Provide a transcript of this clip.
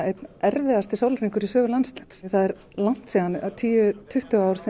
einn erfiðasti sólarhringur Landsnets það er langt síðan tíu tuttugu ár